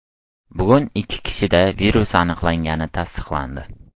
Bugun ikki kishida virus aniqlangani tasdiqlandi.